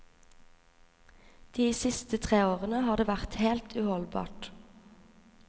De siste tre årene har det vært helt uholdbart.